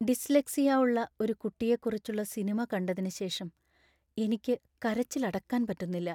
Dyslexia ഉള്ള ഒരു കുട്ടിയെക്കുറിച്ചുള്ള സിനിമ കണ്ടതിന് ശേഷം എനിക്ക് കരച്ചില്‍ അടക്കാന്‍ പറ്റുന്നില്ല.